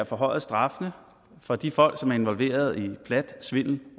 forhøjet straffene for de folk som er involveret i plat svindel